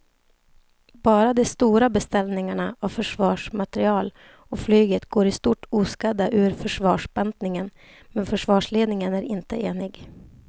Bara de stora beställningarna av försvarsmateriel och flyget går i stort oskadda ur försvarsbantningen men försvarsledningen är inte enig.